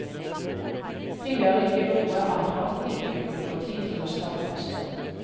Det gjør ikke noe at han ikke bruker tid til å skravle på scenen.